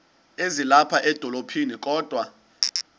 ezilapha edolophini kodwa